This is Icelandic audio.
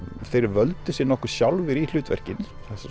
þeir völdu sig nokkuð sjálfir í hlutverkin